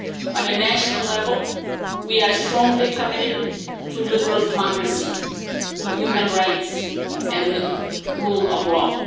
On a national level, we are strongly committed to liberal democracy, to human rights and the rule of law.